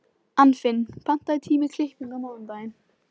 Anfinn, pantaðu tíma í klippingu á mánudaginn.